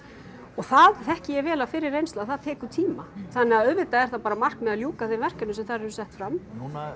það þekki ég vel af fyrri reynslu að það tekur tíma þannig að auðvitað er það bara markmiðið að ljúka þeim verkefnum sem þar eru sett fram núna er